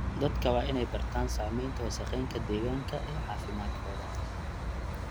Dadka waa in ay bartaan saamaynta wasakheynta deegaanka ee caafimaadkooda.